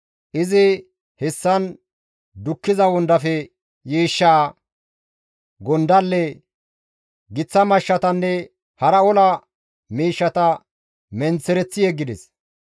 Izi hessan dukkiza wondafe yiishshaa, gondalle, giththa mashshatanne hara ola miishshata menththereththi yeggides.